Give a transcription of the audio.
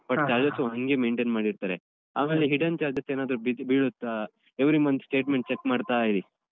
But charges ಹಂಗೆ maintain ಮಾಡಿರ್ತಾರೆ. ಆಮೇಲೆ hidden charges ಏನಾದ್ರು ಬೀಳುತ್ತ every month statement check ಮಾಡ್ತಾ ಇರಿ.